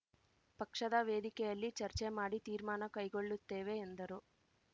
ಪಕ್ಷದ ವೇದಿಕೆಯಲ್ಲಿ ಚರ್ಚೆ ಮಾಡಿ ತೀರ್ಮಾನ ಕೈಗೊಳ್ಳುತ್ತೇವೆ ಎಂದರು